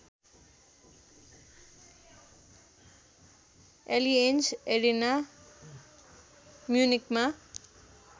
Allianz Arena म्युनिखमा